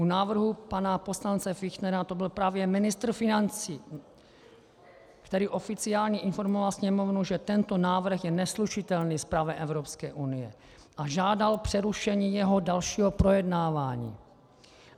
U návrhu pana poslance Fichtnera to byl právě ministr financí, který oficiálně informoval Sněmovnu, že tento návrh je neslučitelný s právem Evropské unie, a žádal přerušení jeho dalšího projednávání.